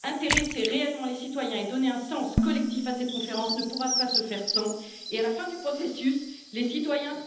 Intéresser réellement les citoyens et donner un sens collectif à cette conférence ne pourra pas se faire sans et à la fin du processus, les citoyens...